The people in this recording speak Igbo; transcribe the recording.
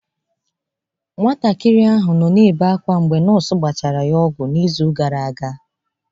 Nwatakịrị ahụ nọ na-ebe akwa mgbe nọọsụ gbachara ya ọgwụ n'izu gara aga.